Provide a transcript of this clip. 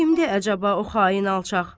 Kimdi əcəba o xain alçaq?